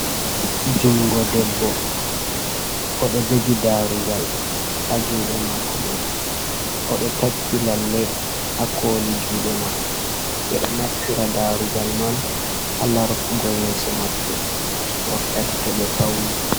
Juungo debbo, o ɗo jogi darugal haa juuɗe mako man, o ɗo takki lalle haa kkoli juuɗe man. Ɓe ɗo naftira darugal man haa lartugo yeso maɓɓe wakkati to ɓe fauni.